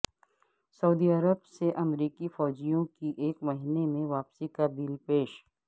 سعودی عرب سے امریکی فوجیوں کی ایک مہینے میں واپسی کا بل پیش